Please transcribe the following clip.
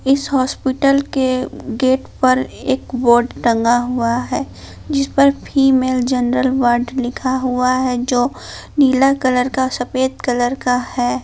इस हॉस्पिटल के गेट पर एक बोर्ड टंगा हुआ है जिस पर फीमेल जनरल वार्ड लिखा हुआ है जो नीला कलर का सफेद कलर का है।